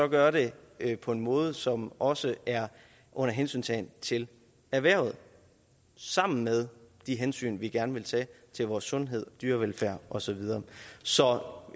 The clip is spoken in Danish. gør det på en måde som også er under hensyntagen til erhvervet sammen med de hensyn vi gerne vil tage til vores sundhed dyrevelfærd og så videre så